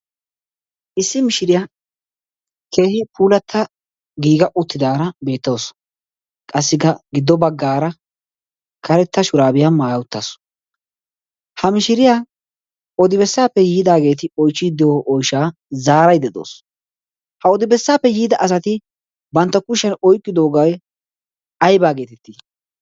issi mishiriyaa keehi puulatta giiga uttidaara beettasu qassi giddo baggaara karetta shuraabiyaa maaya uttaasu ha mishiriyaa odibessaappe yiidaageeti oichchiiddio oyshaa zaaray des. ha odibessaappe yiida asati bantta kushiyan oyqkidoogay aybaa geetettii?